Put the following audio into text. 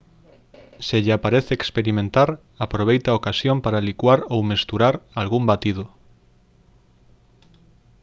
se lle aparece experimentar aproveite a ocasión para licuar ou mesturar algún batido